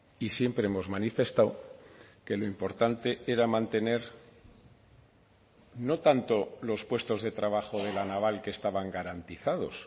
y siempre hemos manifestado que lo importante era mantener no tanto los puestos de trabajo de la naval que estaban garantizados